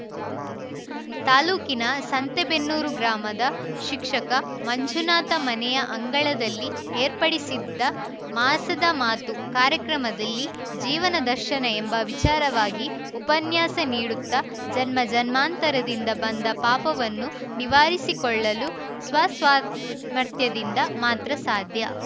ತಾಲೂಕಿನ ಸಂತೆಬೆನ್ನೂರು ಗ್ರಾಮದ ಶಿಕ್ಷಕ ಮಂಜುನಾಥ ಮನೆಯ ಅಂಗಳದಲ್ಲಿ ಏರ್ಪಡಿಸಿದ್ದ ಮಾಸದ ಮಾತು ಕಾರ್ಯಕ್ರಮದಲ್ಲಿ ಜೀವನ ದರ್ಶನ ಎಂಬ ವಿಚಾರವಾಗಿ ಉಪನ್ಯಾಸ ನೀಡುತ್ತಾ ಜನ್ಮ ಜನ್ಮಾಂತರದಿಂದ ಬಂದ ಪಾಪವನ್ನು ನಿವಾರಿಸಿಕೊಳ್ಳಲು ಸ್ವಸಾಮರ್ಥ್ಯದಿಂದ ಮಾತ್ರ ಸಾಧ್ಯ